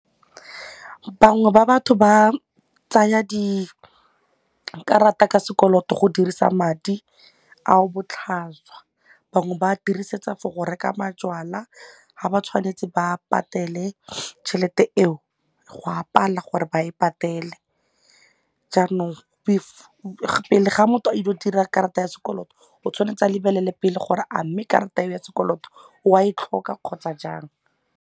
Bangwe ba batho ba tsaya dikarata ka sekoloto go dirisa madi ao botlhaswa, bangwe ba dirisetsa for go reka majwala ga ba tshwanetse ba patele tšhelete eo go a pala gore ba e patele jaanong pele ga motho a ile go dira karata ya sekoloto o tshwanetse a lebelele pele gore a mme karata ya sekoloto o a e tlhoka kgotsa jang.